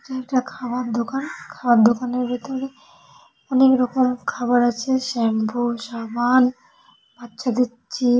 এটা একটা খাওয়ার দোকান। খাওয়ার দোকানের ভেতরে অনেক রকম খাবার আছে স্যাম্পু সাবান বাচ্চাদের চি --